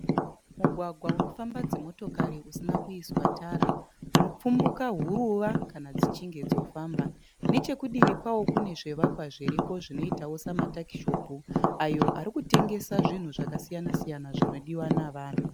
Mugwagwa unofamba dzimotokari usina kuiswa Tara unopfumbuka huruva Kana dzichinge dzofamba nechekudivi kwayo kune zvivakwa zviriko zvinoita samataishopu ayo arikutengesa zvinhu zvakasiyana siyana zvinodiwa nevanhu